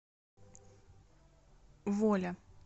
воля